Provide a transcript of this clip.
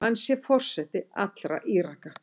Hann sé forseti allra Íraka.